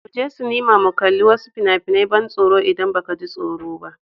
Mu je sinima mu kalli wasu fina-finan ban tsoro idan ba ka ji tsoro ba.